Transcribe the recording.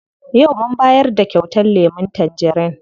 Yau mun bayar da kyautar lemun tangerin.